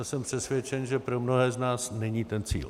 A jsem přesvědčen, že pro mnohé z nás není ten cíl.